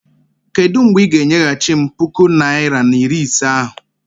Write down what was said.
Kedụ mgbe ị ga- enyeghachi m puku naịra na iri ise ahụ?